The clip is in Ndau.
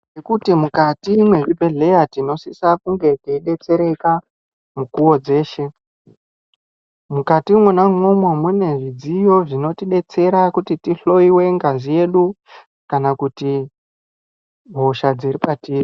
Ngekuti mukati mwezvibhedhleya tinosisa kunge teidetsereka mukuwo dzeshe, mukati mwona umwomwo mune zvidziyo zvinotidetsera kuti tihloiwe ngazi yedu kana kuti hosha dziri patiri.